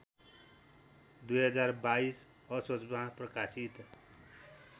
२०२२ असोजमा प्रकाशित